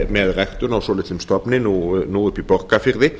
með ræktun á svolitlum stofni nú uppi í borgarfirði